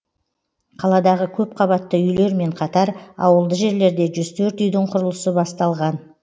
қаладағы көпқабатты үйлермен қатар ауылды жерлерде жүз төрт үйдің құрылысы басталған